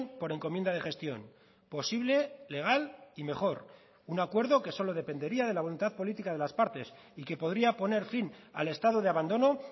por encomienda de gestión posible legal y mejor un acuerdo que solo dependería de la voluntad política de las partes y que podría poner fin al estado de abandono